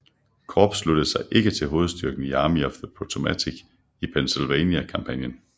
Korps sluttede sig ikke til hovedstyrken i Army of the Potomac i Peninsula kampagnen